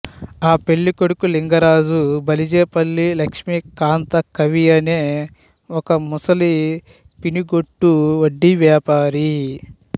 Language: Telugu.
ఆ పెళ్ళికొడుకు లింగరాజు బలిజేపల్లి లక్ష్మీకాంత కవి అనే ఒక ముసలి పినిగొట్టు వడ్డీ వ్యాపారి